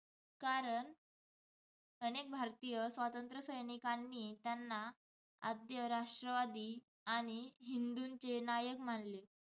कारण अनेक भारतीय स्वातंत्र्यसैनिकांनी त्यांना आद्य-राष्ट्रवादी आणि हिंदूंचे नायक मानले.